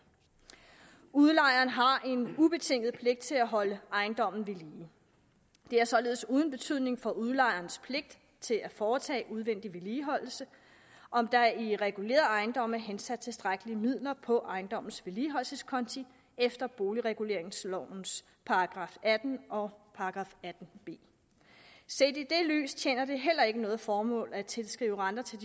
udlejeren har en ubetinget pligt til at holde ejendommen ved lige det er således uden betydning for udlejerens pligt til at foretage udvendig vedligeholdelse om der i regulerede ejendomme er hensat tilstrækkelige midler på ejendommens vedligeholdelseskonti efter boligreguleringsloven § atten og § atten b set i det lys tjener det heller ikke noget formål at tilskrive renter til